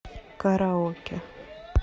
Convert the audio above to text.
караоке